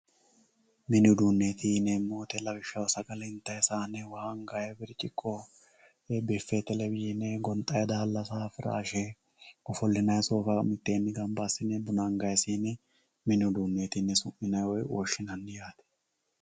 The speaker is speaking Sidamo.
Mini uduuneti yinemori lawishaho sagale intayi saane waa angayi birciqqo biffe televiyine gonxayi daalasa firaashe ofolinayi soofa miteeni ganba asine buna angayi siine mini uduuneti yine woshinayi woyi su`minayi yaate